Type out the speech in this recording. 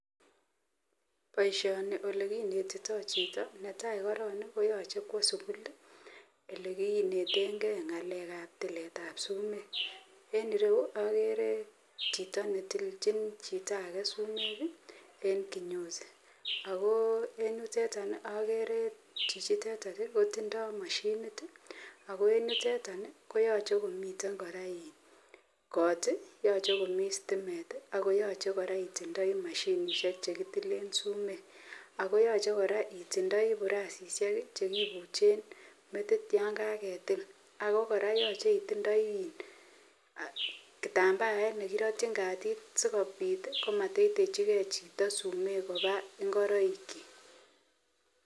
Baishoni onekinetitoi Chito neitai koron koyache Kwa silugulelekinetengei ngalek ab tilishetenbireyu agere Chito netilchin Chito age sumek en kinyosiako en yuteton agere chichiteton koitindoi mashinit akoentuteton koyache komiten kot yache komii stimet akoyache itindoi mashinishek chekitilen sumek akoyache koraa itindoi burashishek chekibuksen ak metit yangagetil ago goraa koyache itinye kitambaet nekiratin katit sikobit komateiteji Chito sumek ngoroik chik